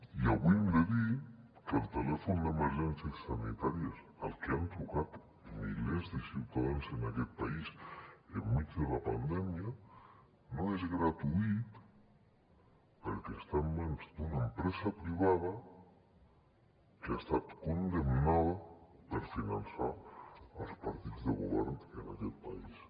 i avui hem de dir que el telèfon d’emergències sanitàries al que han trucat milers de ciutadans en aquest país enmig de la pandèmia no és gratuït perquè està en mans d’una empresa privada que ha estat condemnada per finançar els partits de govern en aquest país